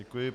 Děkuji.